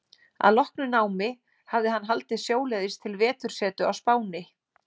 Að loknu námi hafði hann haldið sjóleiðis til vetursetu á Spáni.